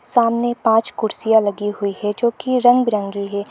सामने पांच कुर्सियां लगी गई है जो की रंग बिरंगी है।